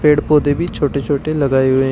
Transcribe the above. पेड़ पौधे भी छोटे छोटे लगाए हुए हैं।